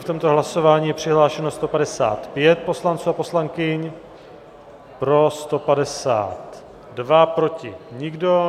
V tomto hlasování je přihlášeno 155 poslanců a poslankyň, pro 152, proti nikdo.